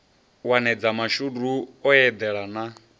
wanedza mashudu o eḓela na